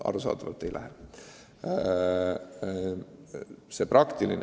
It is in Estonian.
Arusaadavalt ei lähe.